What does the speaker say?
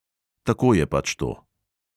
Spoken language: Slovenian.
Tako je pač to.